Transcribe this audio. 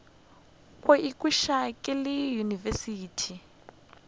go ikhwetša ke le university